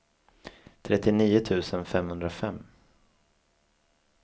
trettionio tusen femhundrafem